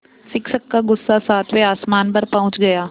शिक्षक का गुस्सा सातवें आसमान पर पहुँच गया